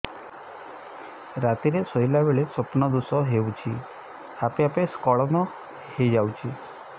ରାତିରେ ଶୋଇଲା ବେଳେ ସ୍ବପ୍ନ ଦୋଷ ହେଉଛି ଆପେ ଆପେ ସ୍ଖଳନ ହେଇଯାଉଛି